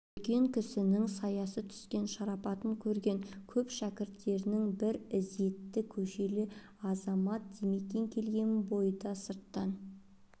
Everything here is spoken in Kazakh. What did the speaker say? үлкен кісінің саясы түскен шарапатын көрген көп шәкірттерінің бір ізетті көшелі азамат димекең келген бойда сырттан